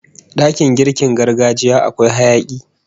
Dakin girkin gargajiya akwai hayaki